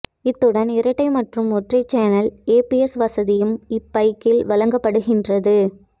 இத்துடன் இரட்டை மற்றும் ஒற்றை சேனல் ஏபிஎஸ் வசதியும் இப்பைக்கில் வழங்கப்படுகின்றது